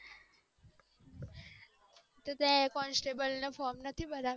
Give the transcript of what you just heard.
તો તારે કોન્સ્ટેબલ નું ફોર્મ નથ ભરવા